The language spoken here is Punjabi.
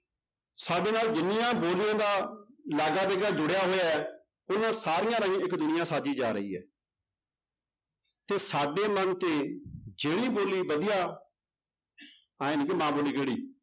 ਸਾਡੇ ਨਾਲ ਜਿੰਨੀਆਂ ਬੋਲੀਆਂ ਦਾ ਜੁੜਿਆ ਹੋਇਆ ਹੈ ਉਹਨਾਂ ਸਾਰੀਆਂ ਰਾਹੀਂ ਇੱਕ ਦੁਨੀਆਂ ਸਾਜੀ ਜਾ ਰਹੀ ਹੈ ਤੇ ਸਾਡੇ ਮਨ ਤੇ ਜਿਹੜੀ ਬੋਲੀ ਵਧੀਆ ਇਉਂ ਨੀ ਕਿ ਮਾਂ ਬੋਲੀ ਕਿਹੜੀ